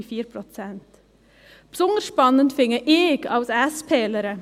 Besonders spannend finde ich als SP-lerin: